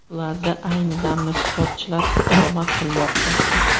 Ularda ayni damda sportchilar istiqomat qilmoqda.